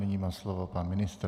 Nyní má slovo pan ministr.